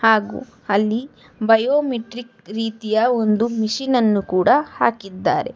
ಹಾಗು ಅಲ್ಲಿ ಬಯೋಮೆಟ್ರಿಕ್ ರೀತಿಯ ಒಂದು ಮಿಷಿನ್ ಅನ್ನು ಕೂಡ ಹಾಕಿದ್ದಾರೆ.